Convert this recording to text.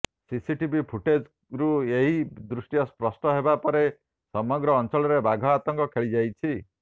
CCTV ଫୁଟେଜ୍ରୁ ଏହି ଦୃଶ୍ୟ ସ୍ପଷ୍ଟ ହେବା ପରେ ସମଗ୍ର ଅଞ୍ଚଳରେ ବାଘ ଆତଙ୍କ ଖେଳିଯାଇଛି